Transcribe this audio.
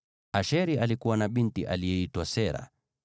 (Asheri alikuwa na binti aliyeitwa Sera.)